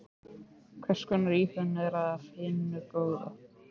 Hvers konar íhugun er af hinu góða.